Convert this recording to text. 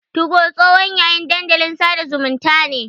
Tugo tsohon yayin dandalin sada zumunta ne.